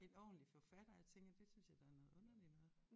En ordentlig forfatter og jeg tænker det synes jeg da er noget underligt noget